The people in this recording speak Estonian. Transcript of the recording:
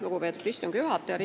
Lugupeetud istungi juhataja!